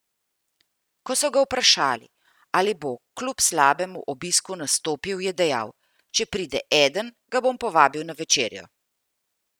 Ko so ga vprašali, ali bo kljub slabemu obisku nastopil, je dejal: "Če pride eden, ga bom povabil na večerjo.